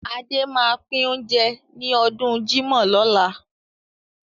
Adé máa pín oúnjẹ ní ọdún jímọ̀ lọ́la.